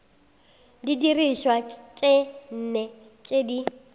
didirišwa tše nne tše di